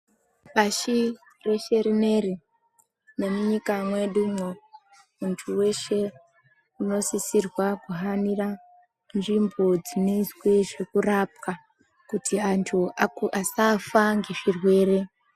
Pashi reshe rine iri, nemunyika mwedu umwo, muntu weshe unosisirwa kuhanira nzvimbo dzineizwe zvekurapwa kuti antu asafa ngezvirwere.